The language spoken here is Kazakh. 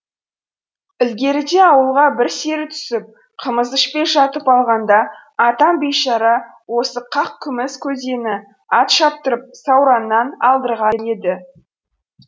ілгеріде ауылға бір сері түсіп қымыз ішпей жатып алғанда атам бейшара осы қақ күміс көзені ат шаптырып саураннан алдырған еді